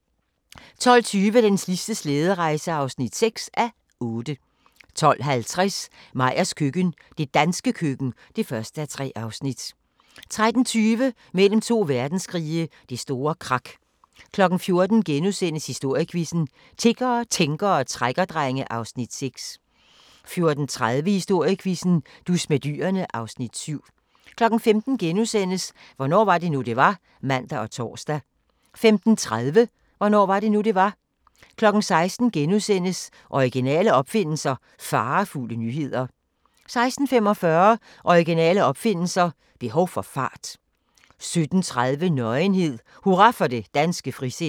12:20: Den sidste slæderejse (6:8) 12:50: Meyers køkken – det danske køkken (1:3) 13:20: Mellem to verdenskrige – Det store krak 14:00: Historiequizzen: Tiggere, tænkere og trækkerdrenge (Afs. 6)* 14:30: Historiequizzen: Dus med dyrene (Afs. 7) 15:00: Hvornår var det nu, det var? *(man og tor) 15:30: Hvornår var det nu, det var? 16:00: Originale opfindelser – farefulde nyheder * 16:45: Originale opfindelser – behov for fart 17:30: Nøgenhed: Hurra for det danske frisind